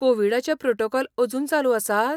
कोविडाचें protocol अजून चालू आसात?